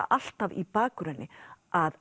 alltaf í bakgrunni að